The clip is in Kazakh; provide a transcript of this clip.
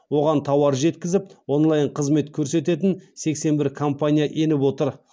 оған тауар жеткізіп онлайн қызмет көрсететін сексен бір компания еніп отыр